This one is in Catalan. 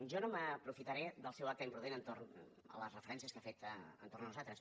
jo no m’aprofitaré del seu acte imprudent entorn de les referències que ha fet entorn de nosaltres